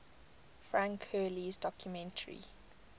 frank hurley's documentary